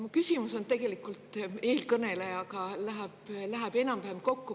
Mu küsimus tegelikult eelkõnelejaga läheb enam-vähem kokku.